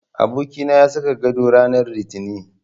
Abokina ya saka gado rananr Litinin.